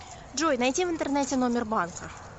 джой найти в интернете номер банка